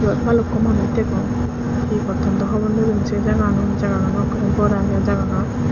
eoot ballukko manuch degong he gotton dow hobor nopem se jaganot jaganot ekkerey bor agey jagagan.